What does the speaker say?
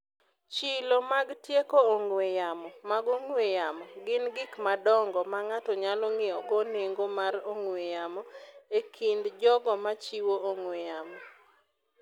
Chilo mag tieko ong'we yamo mag ong'we yamo gin gik madongo ma ng’ato nyalo ng’iewogo nengo mar ong'we yamo e kind jogo ma chiwo ong'we yamo.